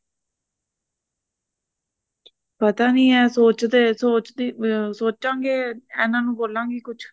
ਪਤਾ ਨਹੀਂ ਇਹ ਸੋਚਾਂਗੇ ਇਹਨਾ ਨੂੰ ਬੋਲਾ ਗੀ ਕੁਛ